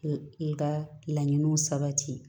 i ka laɲiniw sabati